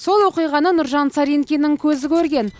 сол оқиғаны нұржан саринкиннің көзі көрген